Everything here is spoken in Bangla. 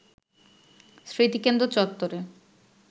স্মৃতিকেন্দ্র চত্বরে